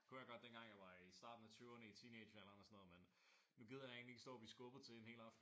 Det kunne jeg godt dengang jeg var i starten af tyverne i teenagealderen og sådan noget. Men nu gider jeg egentlig ikke stå og blive skubbet til en hel aften